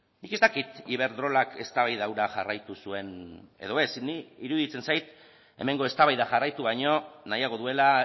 nik ez dakit iberdrolak eztabaida hura jarraitu zuen edo ez niri iruditzen zait hemengo eztabaida jarraitu baino nahiago duela